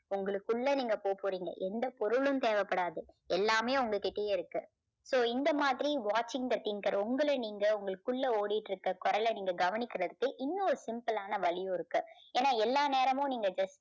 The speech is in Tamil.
உங்களுக்குள்ள நீங்க போக போறீங்க. எந்த பொருளும் தேவைப்படாது. எல்லாமே உங்க கிட்டயே இருக்கு. so இந்த மாதிரி watching the thinker உங்களை நீங்க உங்களுக்குள்ள ஓடிட்டிருக்க குரலை நீங்க கவனிக்கிறதுக்கு இன்னொரு simple ஆன வழியும் இருக்கு. ஏன்னா எல்லா நேரமும் நீங்க just